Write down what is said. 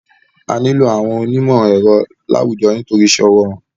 A nílò àwọn onímọ̀-ẹ̀rọ láwùjọ nítorí iṣẹ́ ọwọ́ wọn.